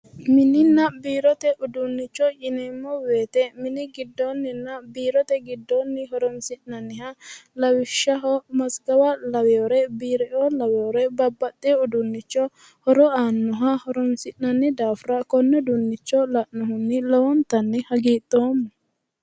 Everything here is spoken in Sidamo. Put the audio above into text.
mininna biirote uduunnichi yineemmo wote mini giddoonninna biirote giddoonni horonsi'neemmoha lawishshaho masgawa laweere biireoo laweere babbaxewo uduunnicho horo aannoha horonsi'nanni daafira konne uduunnicho uduunnicho la'nohunni lowontanni hagiidhoomma.